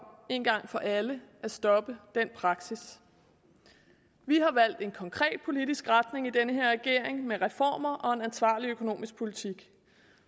en gang for alle at stoppe den praksis vi har valgt en konkret politisk retning i den her regering med reformer og ansvarlig økonomisk politik